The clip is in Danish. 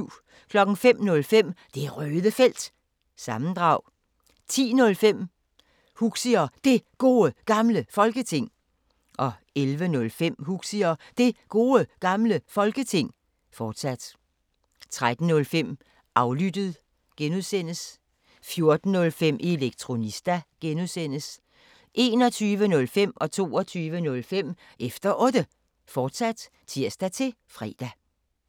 05:05: Det Røde Felt – sammendrag 10:05: Huxi og Det Gode Gamle Folketing 11:05: Huxi og Det Gode Gamle Folketing, fortsat 13:05: Aflyttet (G) 14:05: Elektronista (G) 21:05: Efter Otte, fortsat (tir-fre) 22:05: Efter Otte, fortsat (tir-fre)